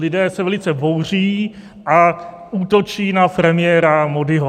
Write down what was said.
Lidé se velice bouří a útočí na premiéra Módího.